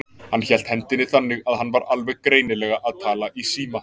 Hann hélt hendinni þannig, að hann var alveg greinilega að tala í síma.